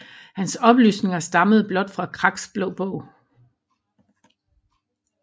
Hans oplysninger stammede blot fra Kraks Blå Bog